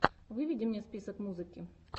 выведи мне список музыки